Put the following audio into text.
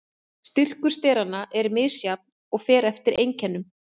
Styrkur steranna er misjafn og fer eftir einkennum.